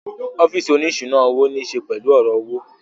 Ọ́físì oní ìṣúná owó ní ṣe pẹ̀lú ọ̀rọ̀ owó